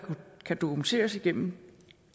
kan dokumenteres igennem